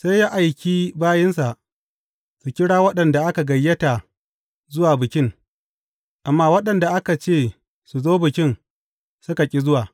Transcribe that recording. Sai ya aiki bayinsa su kira waɗanda aka gayyata zuwa bikin, amma waɗanda aka ce su zo bikin, suka ƙi zuwa.